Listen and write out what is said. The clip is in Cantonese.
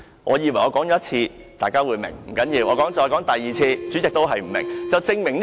我以為我說一次，大家便會明白；不要緊，但我說第二次後，主席仍不明白。